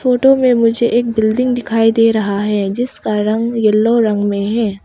Photo में मुझे एक बिल्डिंग दिखाई दे रहा है जिसका रंग येलो रंग में है।